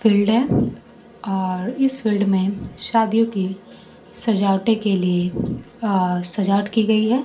Field है और इस फिल्ड में शादियों की सजावटें के लिए अ सजावट की गई है।